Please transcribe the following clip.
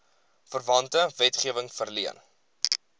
verwante wetgewing verleen